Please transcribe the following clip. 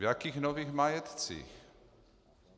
V jakých nových majetcích?